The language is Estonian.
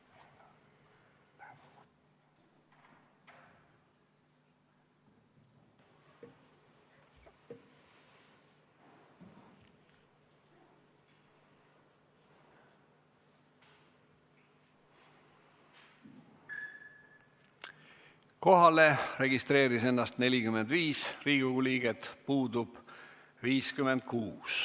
Kohaloleku kontroll Kohalolijaks registreeris ennast 45 Riigikogu liiget, puudub 56.